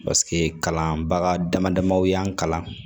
Paseke kalanbaga dama damaw y'an kalan